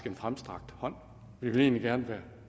en fremstrakt hånd og vi vil egentlig gerne være